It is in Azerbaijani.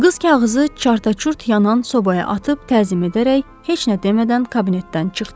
Qız kağızı çarta-çurt yanan sobaya atıb təzim edərək heç nə demədən kabinetdən çıxdı.